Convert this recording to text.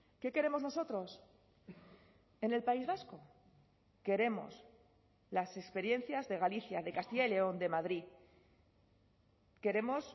qué queremos nosotros en el país vasco queremos las experiencias de galicia de castilla y león de madrid queremos